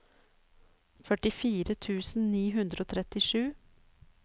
førtifire tusen ni hundre og trettisju